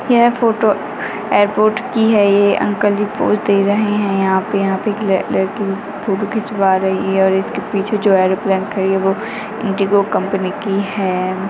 यह photo airport की है ये अंकल जी पोज़ दे रहे है यहाँ पे यहाँ एक लड़की फोटो खिचवा रही है और इसके पीछे जो एयरोप्लेन खड़ा है ये इंडिगो कंपनी की है।